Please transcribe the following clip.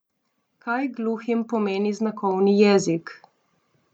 Kaj gluhim pomeni znakovni jezik?